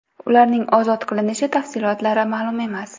Ularning ozod qilinishi tafsilotlari ma’lum emas.